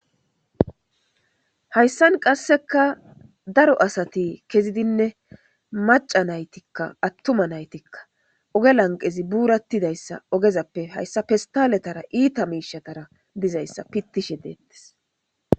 hayssan qasseka daro asati kezidinne maca naytikka attuma naytikka oge lanqezi buurattidayssa ogezappe hayssa fistaletara iita miishatara dizayssa pittishe deettes